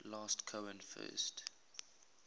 last cohen first